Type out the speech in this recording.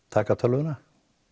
taka tölvuna